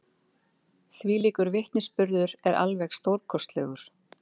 Þvílíkur vitnisburður er alveg stórkostlegur.